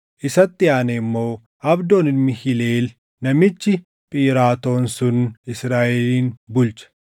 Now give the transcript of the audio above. Isatti aanee immoo Abdoon ilmi Hileel namichi Phiraatoon sun Israaʼelin bulche.